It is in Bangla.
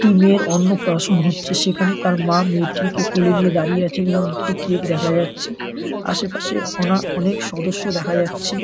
একটি মেয়ের অন্নপ্রাশন হচ্ছে। সেখানে তার মা মেয়েটিকে কুলে নিয়ে দাঁড়িয়ে আছেন এবং একটি কেক দেখা যাচ্ছে। আশেপাশে অনা অনেক সদস্য দেখা যাচ্ছে।